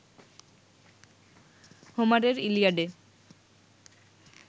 হোমারের ইলিয়াডে